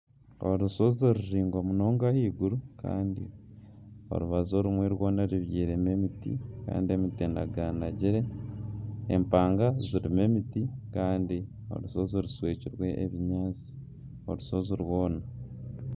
Orushozi ruraingwa munonga ahaiguru kandi orubaju orumwe rwoona rubyirwemu emiti kandi emiti enaganagire empanga zirimu emiti kandi orushozi rushwekirwe ebinyaatsi orushozi rwoona.